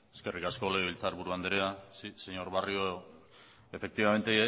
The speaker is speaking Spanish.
eskerrik asko legebiltzarburu anderea señor barrio efectivamente